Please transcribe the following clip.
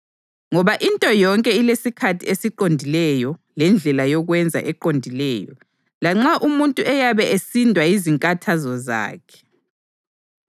Ngoba into yonke ilesikhathi esiqondileyo lendlela yokwenza eqondileyo, lanxa umuntu eyabe esindwa yizinkathazo zakhe.